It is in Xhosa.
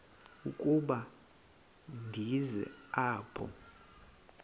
ukuba ndize apha